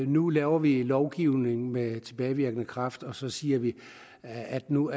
nu laver vi lovgivning med tilbagevirkende kraft og så siger vi at nu